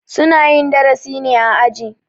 Su na yin darasi ne a aji.